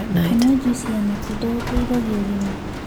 Kũnyua jũĩsĩ ya matunda gũteĩthagĩa ũgima